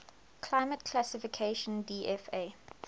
climate classification dfa